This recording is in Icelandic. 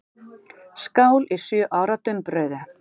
Skál í sjö ára dumbrauðu.